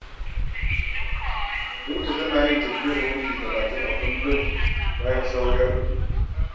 Binta tana yin tafiyar minti talatin a kullum, bayan sawu ya ɗauke.